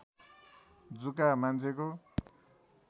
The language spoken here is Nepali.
जुका मान्छेको